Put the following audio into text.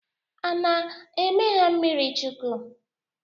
A ana-eme ha mmirichukwu.?